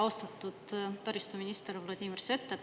Austatud taristuminister Vladimir Svet!